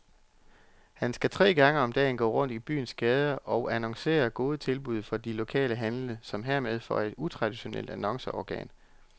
Han skal tre gange om dagen gå rundt i byens gader og annoncere gode tilbud fra de lokale handlende, som hermed får et utraditionelt annonceorgan.